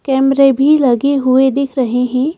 कैमरे भी लगे हुए दिख रहे हैं।